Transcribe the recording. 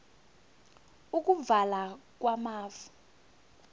ukuvala kwamafu